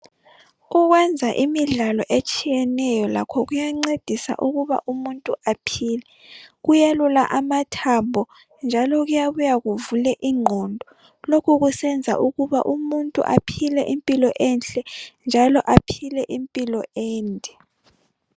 Ukwenza imidlalo etshiyeneyo lakho kuyancedisa ukuba umuntu aphile, kuyelula amathambo njalo kuyabuya kuvule ingqondo lokhu kusenza ukuba umuntu aphile impilo enhle njalo aphile impilo ende.